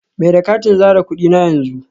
Mai da katin zare kudi na yanzu